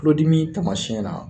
Tulodimi tamasiyɛn na